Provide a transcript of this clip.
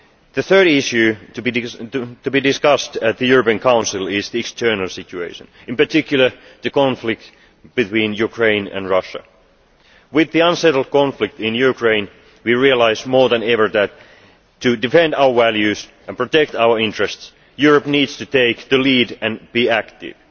The third issue to be discussed at the European Council is the external situation, in particular the conflict between Ukraine and Russia. With the unsettled conflict in Ukraine we realise more than ever that to defend our values and protect our interests, Europe needs to take the lead and be active.